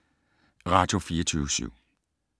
Radio24syv